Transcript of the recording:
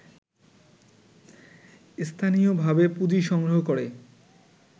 স্থানীয়ভাবে পুঁজি সংগ্রহ করে